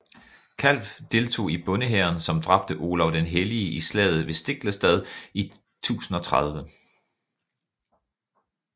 Kalv deltog i bondehæren som dræbte Olav den hellige i slaget ved Stiklestad i 1030